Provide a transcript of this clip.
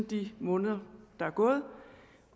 de måneder der er gået